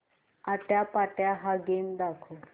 आट्यापाट्या हा गेम दाखव